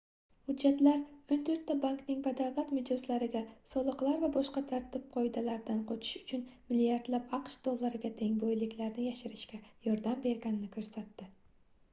hujjatlar oʻn toʻrtta bankning badavlat mijozlariga soliqlar va boshqa tartib-qoidalardan qochish uchun milliardlab aqsh dollariga teng boyliklarini yashirishga yordam berganini koʻrsatdi